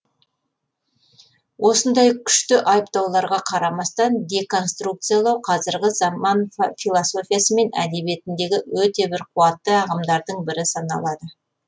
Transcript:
осындай күшті айыптауларға қарамастан деконструкциялау қазіргі заман философиясы мен әдебиетіндегі өте бір қуатты ағымдардың бірі саналады